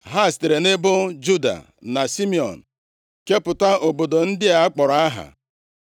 Ha sitere nʼebo Juda na Simiọn, kepụta obodo ndị a akpọrọ aha